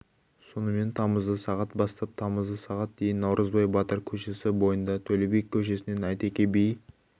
сонымен тамызда сағат бастап тамызда сағат дейін наурызбай батыр көшесі бойында төле би көшесінен әйтеке би